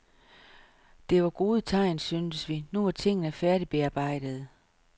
Det var gode tegn, syntes vi, nu var tingene færdigbearbejdede.